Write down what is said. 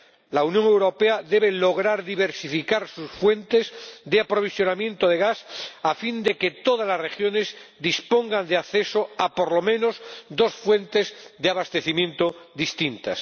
La Unión Europea debe lograr diversificar sus fuentes de aprovisionamiento de gas a fin de que todas las regiones dispongan de acceso a, por lo menos, dos fuentes de abastecimiento distintas.